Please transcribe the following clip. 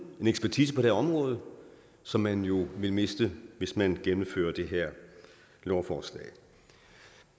en ekspertise på det her område som man jo vil miste hvis man gennemfører det her lovforslag